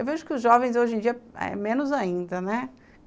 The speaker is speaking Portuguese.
Eu vejo que os jovens, hoje em dia, é menos ainda, né.